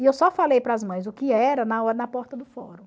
E eu só falei para as mães o que era na na porta do fórum.